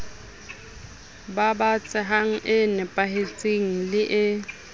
babatsehang e nepahetseng le e